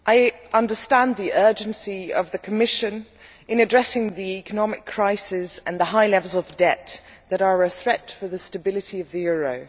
Mr President, I understand the urgency of the Commission in addressing the economic crisis and the high levels of debt which are a threat for the stability of the euro.